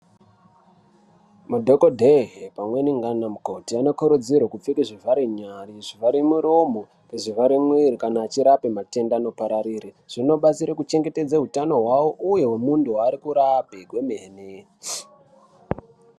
Madhokodheye pamweni ngaanamukoti anokurudzirwe kupfeke zvivharenyare, zvivharemuromo nezvivharemwiiri kana achirape matenda anopararire. Zvinobatsire kuchengetedze hutano hwawo uye hwemuntu waari kurape kwemene.